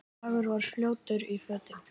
Drengur var fljótur í fötin.